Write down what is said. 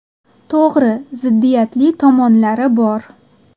To‘g‘ri, ziddiyatli tomonlari bor.